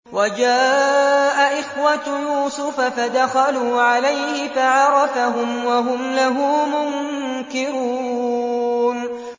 وَجَاءَ إِخْوَةُ يُوسُفَ فَدَخَلُوا عَلَيْهِ فَعَرَفَهُمْ وَهُمْ لَهُ مُنكِرُونَ